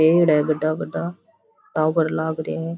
पेड़ है बड़ा बड़ा टावर लाग रे है।